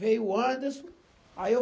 Veio o Anderson. Aí eu